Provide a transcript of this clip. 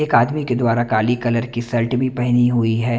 एक आदमी के द्वारा काली कलर शर्ट भी पहनी हुई है।